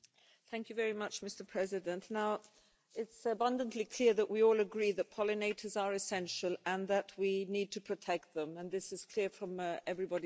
Mr President, now, it's abundantly clear that we all agree that pollinators are essential and that we need to protect them, and this is clear from everybody's comments.